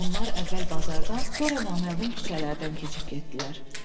Onlar əvvəl bazardan, sonra naməlum küçələrdən keçib getdilər.